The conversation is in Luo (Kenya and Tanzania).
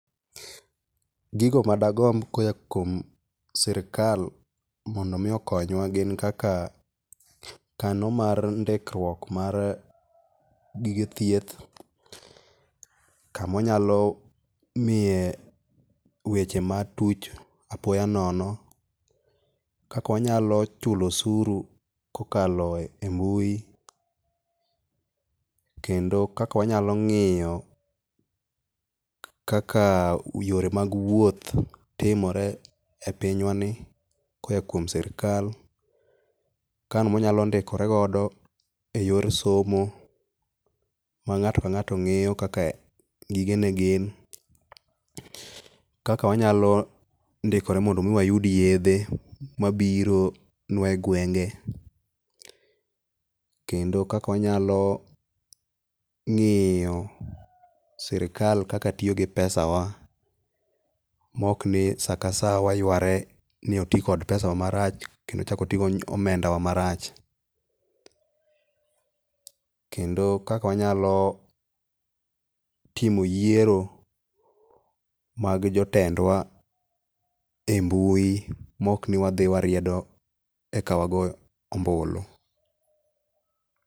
gigo madagomb koa kuom sirikal mondomi okonywa gin kaka kano mar ndikruok mar gige thieth, kama wanyalo ngiye weche matuch apoyo nono, kaka wanyalo chulo osuru kokaloe mbui kendo kaka wanyalo ngiyo kaka yore mag wuoth timore e pinywani koya kuom sirikal ,kamwanyalo ndikorego e yor somo mangato ka ngato ngeyo kaka gige ne gin , kaka wanyalo ndikore mondo mii wayud yedhe mabiro nwa egwenge, kendo kaka wanyalo ngiyo sirikal kaka tiyo gi pesa wa maok ni saa ka saa wayware ni oti gi pesa wa marach kendo ochak otii gi omenda wa marach kendo kaka wanyalo timo yiero mar jotendwa e mbui maok ni wadhi wariedo eka wagoo ombulu